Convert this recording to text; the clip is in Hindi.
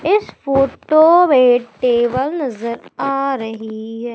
इस फोटो में टेबल नजर आ रही है।